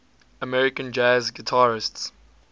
american jazz guitarists